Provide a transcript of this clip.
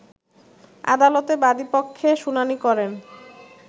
আদালতে বাদিপক্ষে শুনানি করেন